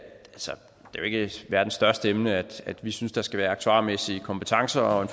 jo ikke verdens største emne at vi synes der skal være aktuarmæssige kompetencer og en